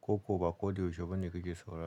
ko kuwa ba ko da yaushe ba ne kake saurara?